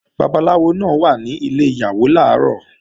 Babaláwo náà wà ní ilẹ̀ Ìyàwó làárọ̀